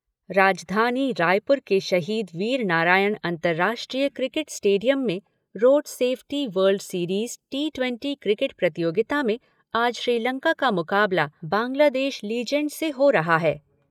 राजधानी रायपुर के शहीद वीरनारायण अंतर्राष्ट्रीय क्रिकेट स्टेडियम में road safety world series T ट्वेटी क्रिकेट प्रतियोगिता में आज श्रीलंका का मुकाबला बांग्लादेश लीजेंड्स से हो रहा है।